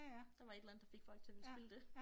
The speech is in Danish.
Der var et eller andet der fik folk til at ville spille det